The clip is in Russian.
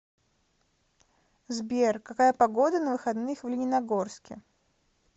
сбер какая погода на выходных в лениногорске